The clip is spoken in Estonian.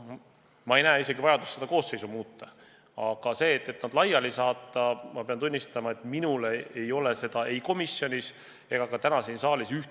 Ma ei näe isegi vajadust seda koosseisu muuta, aga veenvat argumenti, miks nad laiali saata, ma pean tunnistama, ei ole kõlanud ei komisjonis ega ka täna siin saalis.